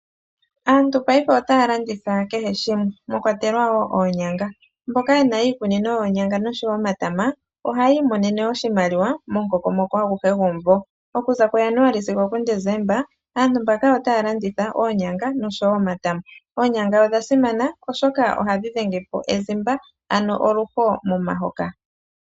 Aantu paife otaa landitha kehe shimwe mwa kwatekwa woo oonyanga. Mboka ye na iikunino yoonyanga nosho woo omatama oha yi imonene oshimaliwa momukokomoko aguhe gomumvo. Oku za kuJanuali sigo oDesemba aantu mbaka otaya landitha oonyanga nosho woo omatama. Oonyanga odha simana oshoka ohadhi dhengepo ezimba, ano oluho momahoka.